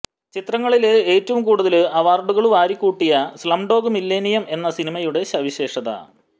ചിത്രങ്ങളില് ഏറ്റവും കൂടുതല് അവാര്ഡുകള് വാരിക്കൂട്ടിയ സ്ളംഡോഗ് മില്ലിനിയം എന്ന സിനിമയുടെ സവിശേഷത